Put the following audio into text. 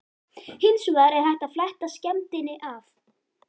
Hins vegar er hægt að fletta skemmdinni af.